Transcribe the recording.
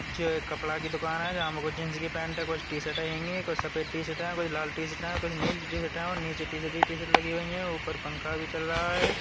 जे एक कपड़ा की दुकान है जामे जीन्स की पैंट है। कुछ टी-शर्ट हेंगी। कुछ सफेद टी-शर्ट है। कोई लाल टी-शर्ट है। कुछ नीली टी-शर्ट है और नीचे टी-शर्ट ही टी-शर्ट लगी हुई है। ऊपर पंखा भी चल रहा है।